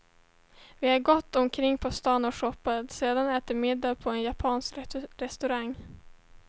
Vi har gått omkring på stan och shoppat, sedan ätit middag på en japansk restaurang.